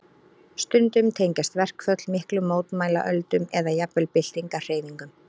Stundum tengjast verkföll miklum mótmælaöldum eða jafnvel byltingarhreyfingum.